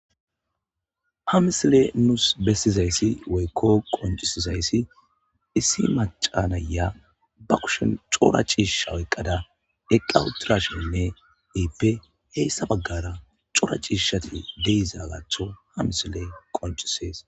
ha misile nuus bessizayssi woykko qoncisizayssi issi macanaya ba kushen cora ciishisha oyiqqada eqa utirashenne iippe heyssa baggara cora ciishishati de'izaatho ha misiley qoncisees